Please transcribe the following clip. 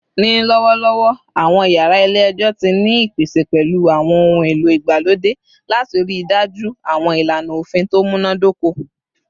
Ni lọwọlọwọ, awọn yara ile-ẹjọ ti ni ipese pẹlu awọn ohun elo igbalode lati rii daju awọn ilana ofin to munadoko